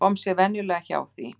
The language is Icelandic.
Kom sér venjulega hjá því.